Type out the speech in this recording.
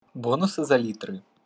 бонусы за литры